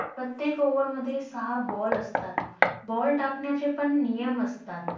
प्रत्येक Over मध्ये सहा Ball असतात, ball टाकण्याचे पण नियम असतात.